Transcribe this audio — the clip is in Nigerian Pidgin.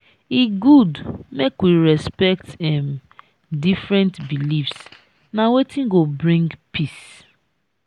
e good make we respect um different beliefs na wetin go bring peace.